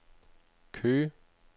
Køge